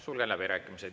Sulgen läbirääkimised.